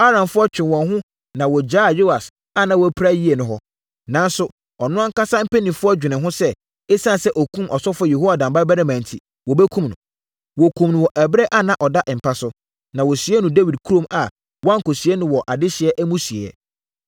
Aramfoɔ twee wɔn ho na wɔgyaa Yoas a na wapira yie no hɔ. Nanso, ɔno ankasa mpanimfoɔ dwenee ho sɛ, ɛsiane sɛ ɔkumm ɔsɔfoɔ Yehoiada babarima enti, wɔbɛkum no. Wɔkumm no wɔ ɛberɛ a ɔda mpa so. Na wɔsiee no Dawid kurom a wɔankɔsie no wɔ adehyeɛ amusieeɛ.